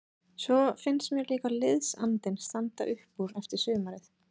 Svo finnst mér líka liðsandinn standa upp úr eftir sumarið.